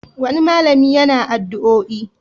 Wani malami yana addu'oi.